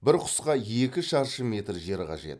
бір құсқа екі шаршы метр жер қажет